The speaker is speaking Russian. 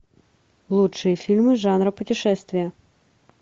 лучшие фильмы жанра путешествия